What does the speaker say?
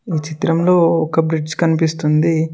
ఈ చిత్రంలో ఒక బ్రిడ్జ్ కనిపిస్తుంది.